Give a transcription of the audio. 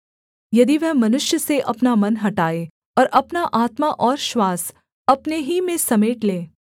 यदि वह मनुष्य से अपना मन हटाए और अपना आत्मा और श्वास अपने ही में समेट ले